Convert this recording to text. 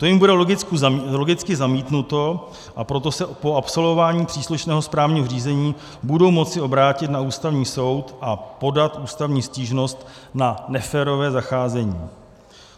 To jim bude logicky zamítnuto, a proto se po absolvování příslušného správního řízení budou moci obrátit na Ústavní soud a podat ústavní stížnost na neférové zacházení.